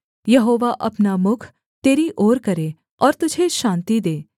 यहोवा अपना मुख तेरी ओर करे और तुझे शान्ति दे